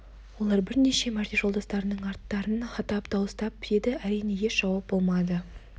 олар бірнеше мәрте жолдастарының аттарын атап дауыстап еді әрине еш жауап болмады